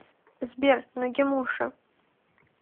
сбер нагимуша